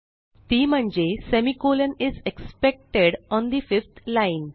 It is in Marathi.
ती म्हणजे सेमी कॉलन पाचव्या ओळीवर अपेक्षित आहे